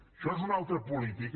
això és una altra política